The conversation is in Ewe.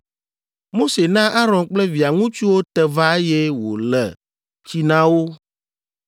Mose na Aron kple via ŋutsuwo te va eye wòle tsi na wo,